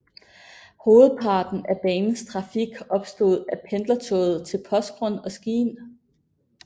Hovedparten af banens trafik bestod af pendlertog til Porsgrunn og Skien